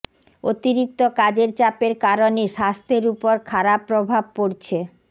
অতিরিক্ত কাজের চাপের কারণে স্বাস্থ্যের উপর খারাপ প্রভাব পড়ছে